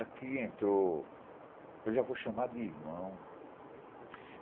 Aqui entrou, eu já vou chamar de irmão.